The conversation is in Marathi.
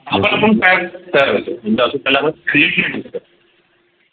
काय तयार करतो म्हणजे अजून त्याला आपण Create नाही करू शकत